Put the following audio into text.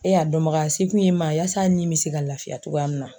E y'e a dɔnbaga ye, e se kun y'e ma walasa a nin kun bɛ se ka lafiya cogoya min na.